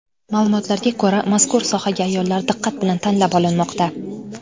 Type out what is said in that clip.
Ma’lumotlarga ko‘ra, mazkur sohaga ayollar diqqat bilan tanlab olinmoqda.